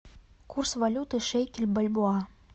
курс валюты шекель бальбоа